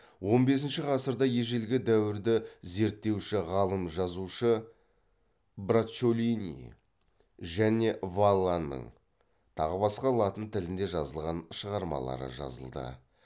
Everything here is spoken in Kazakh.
он бесінші ғасырда ежелгі дәуірді зерттеуші ғалым жазушы браччолини және валланың тағы басқа латын тілінде жазылған шығармалары жазылды